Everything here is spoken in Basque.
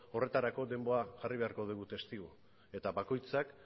horretarako denbora jarri beharko dugu testigu eta bakoitzak